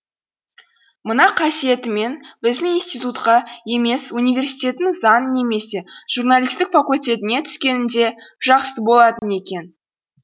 мына қасиетіңмен біздің институтқа емес университеттің заң немесе журналистік факультетіне түскеніңде жақсы болатын екен